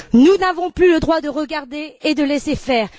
Nous n'avons plus le droit de regarder et de laisser faire.